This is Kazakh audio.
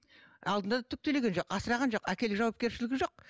алдында да түк төлеген жоқ асыраған жоқ әкелік жауапкершілігі жоқ